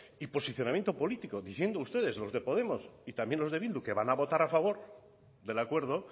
posicionamiento político diciendo ustedes los de podemos y también los de bildu que van a votar a favor del acuerdo